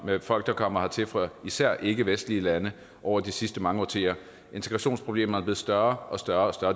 med folk der kommer hertil fra især ikkevestlige lande over de sidste mange årtier integrationsproblemerne er blevet større og større